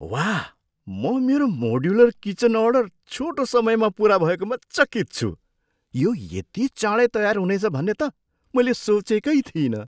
वाह! म मेरो मोड्युलर किचन अर्डर छोटो समयमा पुरा भएकोमा चकित छु। यो यति चाँडै तयार हुनेछ भन्ने त मैले सोचेकै थिइनँ!